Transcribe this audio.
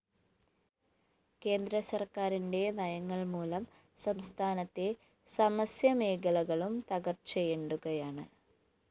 കേന്ദ്ര സര്‍ക്കാരിന്റെ നയങ്ങള്‍ മൂലം സംസ്ഥാനത്തെ സമസ്‌യമേഖലകളും തകര്‍ച്ചയെ ണ്ടുകയാണ്‌